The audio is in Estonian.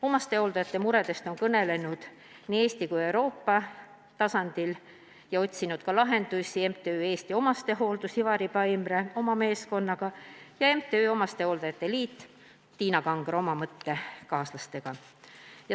Omastehooldajate muredest on kõnelenud nii Eesti kui ka Euroopa tasandil ja otsinud lahendusi MTÜ Eesti Omastehooldus ehk Ivar Paimre oma meeskonnaga, samuti MTÜ Eesti Hooldajate Liit ehk Tiina Kangro oma mõttekaaslastega.